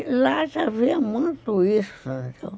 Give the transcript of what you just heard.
E lá já havia muito isso